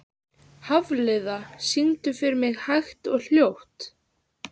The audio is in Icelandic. Hafliða, syngdu fyrir mig „Hægt og hljótt“.